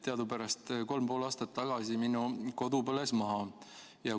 Teadupärast kolm ja pool aastat tagasi põles minu kodu maha.